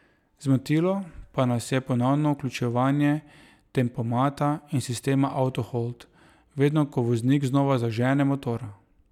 Zmotilo pa nas je ponovno vključevanje tempomata in sistema auto hold, vedno ko voznik znova zažene motor.